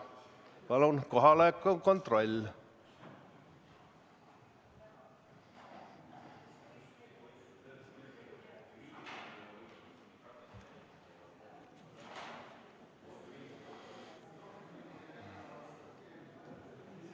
Palun kohaloleku kontroll!